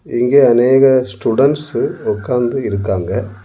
இங்கே அனேக ஸ்டூடண்ட்ஸ்சு உக்காந்து இருக்காங்க.